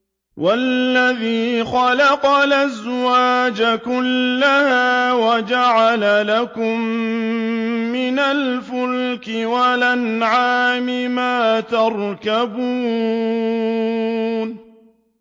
وَالَّذِي خَلَقَ الْأَزْوَاجَ كُلَّهَا وَجَعَلَ لَكُم مِّنَ الْفُلْكِ وَالْأَنْعَامِ مَا تَرْكَبُونَ